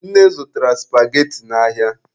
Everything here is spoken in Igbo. Nne zụtara supageti n'ahịa.